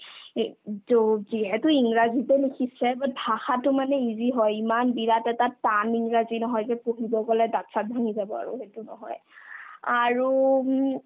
ই to কি এইটো ইংৰাজীতে লিখিছে but ভাষাতো মানে easy হয় ইমান বিৰাট এটা টান ইংৰাজী নহয় যে পঢ়িব গ'লে দাত-চাত ভাঙি যাব আৰু সেইটো নহয় আৰু উম